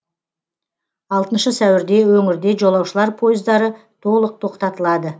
алтыншы сәуірде өңірде жолаушылар пойыздары толық тоқтатылады